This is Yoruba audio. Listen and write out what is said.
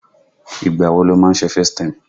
Ìgbà wo lo máa ń ṣe FaceTime?